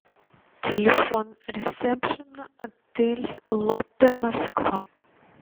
телефон ресепшена отель лотте москва